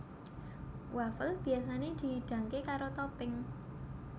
Wafel biyasané dihidangké karo topping